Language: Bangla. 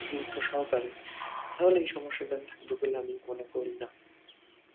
গুরুত্ব সহকারে তাহলে এই সমস্যাগুলো থাকবে বলে আমি মনে করি না